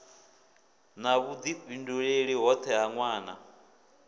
na vhudifhinduleli hoṱhe ha nwana